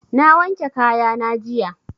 Na wanke kaya na jiya.